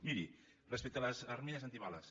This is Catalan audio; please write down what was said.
miri respecte de les armilles antibales